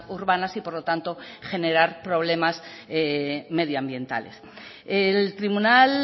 urbanas y por lo tanto generar problemas medioambientales el tribunal